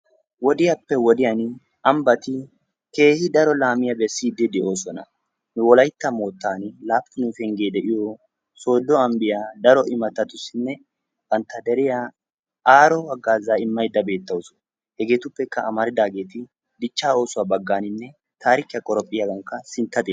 wodiyappe wodiyan ambati keehippe lo'oosona. wolaytta mootani laapun pengee de'iyo sodo ambbiya, banta deriya aaro maaduwa imaydda de'awusu. hegeetuppe amaridaageti dichaa oossuwa imoosona.